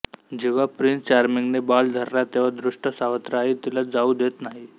जेव्हा प्रिन्स चार्मिंगने बॉल धरला तेव्हा दुष्ट सावत्र आई तिला जाऊ देत नाही